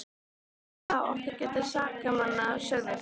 Ekki er það okkar að gæta sakamanna, sögðu þeir.